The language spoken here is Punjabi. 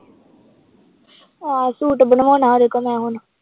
ਆਹੋ ਸੂਟ ਬਣਵਾਉਣਾ ਉਹਦੇ ਕੋਲੋਂ ਮੈਂ ਹੁਣ